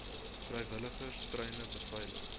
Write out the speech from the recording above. vrywilligers treine beveilig